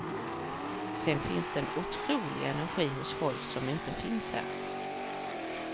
Sedan finns det en otrolig energi hos folk som inte finns här.